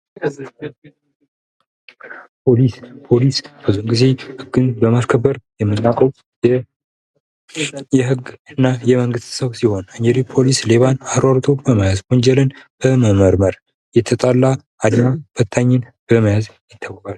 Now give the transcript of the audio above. ፖሊስ ብዙ ጊዜ የመንግስት አካል ሲሆን ህግን ለማስከበር፣ ሌባን ለመያዝ ይጠቅማል ።